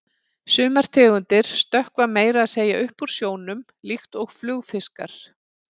Sumar tegundir stökkva meira að segja upp úr sjónum, líkt og flugfiskar.